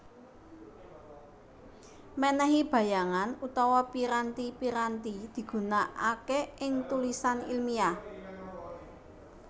Menehi bayangan utawa piranti piranti digunakake ing tulisan ilmiah